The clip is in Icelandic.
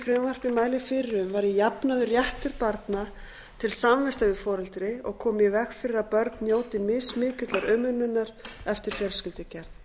frumvarpið mælir fyrir um væri jafnaður réttur barna til samvista við foreldri og komið í veg fyrir að börn njóti mismikillar umönnunar eftir fjölskyldugerð foreldraorlof